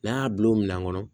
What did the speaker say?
N'an y'a bila o minɛn kɔnɔ